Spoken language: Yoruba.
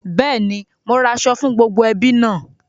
Bẹ́ẹ̀ni, mo ra aṣọ fún gbogbo ẹbí náà